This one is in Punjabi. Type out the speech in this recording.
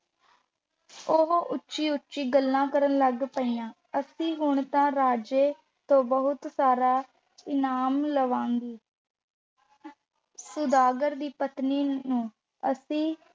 ਉਹ ਉੱਚੀ-ਉੱਚੀ ਗੱਲਾਂ ਕਰਨ ਲੱਗ ਪਈਆਂ, ਅਸੀਂ ਹੁਣ ਤਾਂ ਰਾਜੇ ਤੋਂ ਬਹੁਤ ਸਾਰਾ ਇਨਾਮ ਲਵਾਂਗੀ ਸੁਦਾਗਰ ਦੀ ਪਤਨੀ ਨੂੰ ਅਸੀਂ